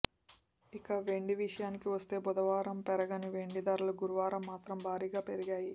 ఇక వెండి విషయానికి వస్తే బుధవారం పెరగని వెండి ధరలు గురువారం మాత్రం భారీగా పెరిగాయి